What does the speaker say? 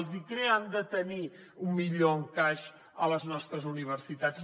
els icrea han de tenir un millor encaix a les nostres universitats